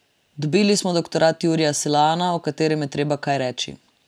Dobili smo doktorat Jurija Selana, o katerem je treba kaj reči.